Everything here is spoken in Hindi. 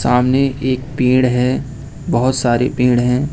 सामने एक पेड़ है बहोत सारे पेड़ हैं।